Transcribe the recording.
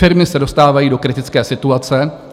Firmy se dostávají do kritické situace.